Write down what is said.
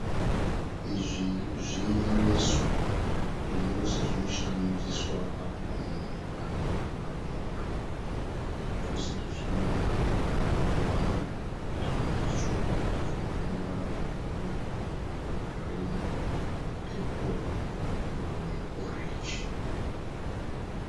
Izvi zvinyoreso. Zvinyoreso izvi zvinoshandiswa pakukunyora pamapepa. Zvinyoreso izvi zvine ruvara rwakawanda zvimwe zvitsvuku zvimwe zvine ruvara rwebhuruu, rwegirini, rwepepo rweorenji.